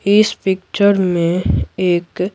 इस पिक्चर में एक--